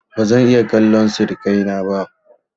ba zan iya kallan sirikai na ba